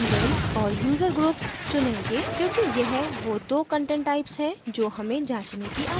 हम events और user groups चुनेंगे क्योंकि यह we दो content types हैं जो हमें जाँचने की आवश्यकता हैं